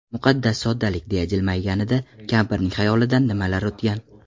Muqaddas soddalik!”, deya jilmayganida kampirning xayolidan nimalar o‘tgan?